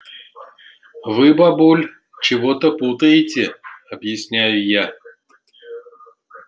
вы бабуль чего-то путаете объясняю я